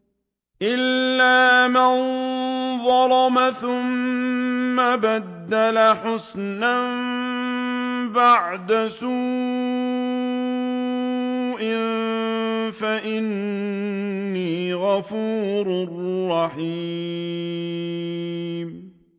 إِلَّا مَن ظَلَمَ ثُمَّ بَدَّلَ حُسْنًا بَعْدَ سُوءٍ فَإِنِّي غَفُورٌ رَّحِيمٌ